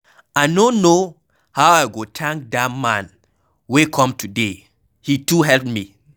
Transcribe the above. I no know how I go thank dat man wey come today, he too help me.